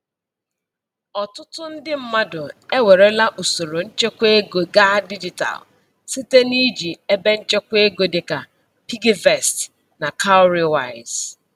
Ọtụtụ ndị mmadụ ewerela usoro nchekwaego gaa dijitalụ site iji ebenchekwaego dịka PiggyVest na Cowrywise.